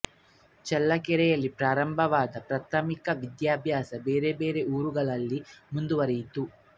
ಚಳ್ಳಕೆರೆಯಲ್ಲಿ ಪ್ರಾರಂಭವಾದ ಪ್ರಾಥಮಿಕ ವಿದ್ಯಾಭ್ಯಾಸ ಬೇರೆ ಬೇರೆ ಊರುಗಳಲ್ಲಿ ಮುಂದುವರಿಯಿತು